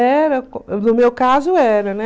Era no meu caso era, né?